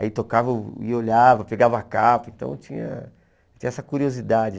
Aí tocava e olhava, pegava capa, então tinha tinha essa curiosidade.